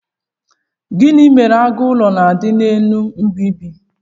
gini mere agu ulo na'di n'elu mb͕idi?